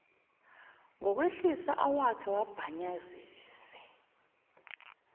ngokwehlisa awakhe wabhanyazise